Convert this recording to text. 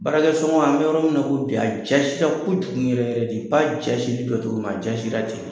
Baarakɛsɔngɔ an bɛ yɔrɔ min na ko bi, a jasira kojugu yɛrɛ yɛrɛ de. I b'a jasilen do cogo min a jasira ten de.